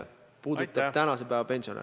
See puudutab praegusi pensionäre.